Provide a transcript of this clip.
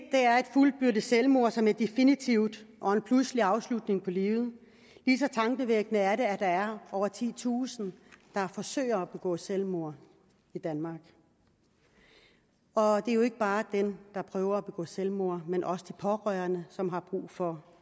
fuldbyrdet selvmord som er definitivt og en pludselig afslutning på livet lige så tankevækkende er det at der er over titusind der forsøger at begå selvmord i danmark og det er jo ikke bare dem der prøver at begå selvmord men også de pårørende som har brug for